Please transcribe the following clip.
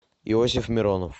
иосиф миронов